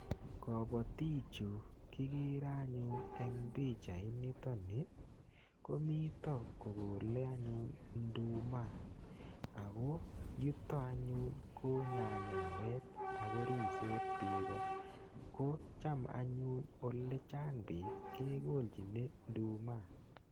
Kabatik chu kikere anyun eng pichait nitoni, komito kokole anyun nduma. Ako yutok anyun, ko nyanyawet. Akoruisot biiko. Kocham anyun ole chang biik kekolchine nduma.